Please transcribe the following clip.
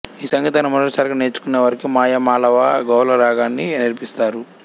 ఈ సంగీతాన్ని మొదటి సారిగా నేర్చుకునే వారికి మాయా మాళవ గౌళ రాగాన్ని నేర్పిస్తారు